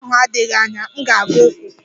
Ahịa ahụ adịghị anya, m ga-aga ụkwụ.